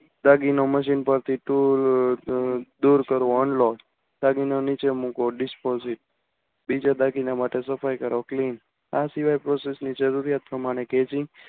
દાગીનો machine પરથી tool દૂર કરવો. unlock દાગીન દાગીનો નીચે મૂકવો dispose બીજા દાગીના માટે સફાઈ કરો clean આ સિવાય process ની જરૂરિયાત પ્રમાણે gaiging